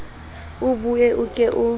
o bue o ke o